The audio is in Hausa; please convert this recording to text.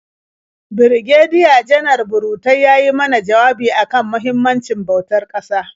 Birigediya-Janar Burutai ya yi mana jawabi a kan muhimmancin bautar ƙasa.